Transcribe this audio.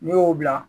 N'i y'o bila